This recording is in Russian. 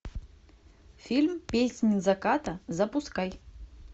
фильм песнь заката запускай